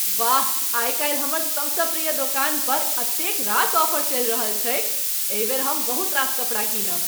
वाह! आइकाल्हि हमर सबसँ प्रिय दोकान पर एतेक रास ऑफर चलि रहल छैक। एहि बेर हम बहुत रास कपड़ा कीनब।